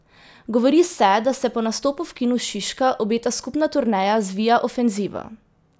Govori se, da se po nastopu v Kinu Šiška obeta skupna turneja z Via ofenzivo.